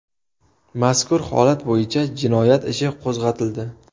Mazkur holat bo‘yicha jinoyat ishi qo‘zg‘atildi.